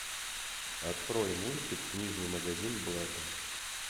открой мультик книжный магазин блэка